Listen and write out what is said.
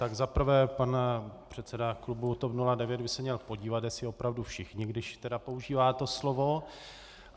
Tak za prvé, pan předseda klubu TOP 09 by se měl podívat, jestli opravdu všichni, když tedy používá to slovo.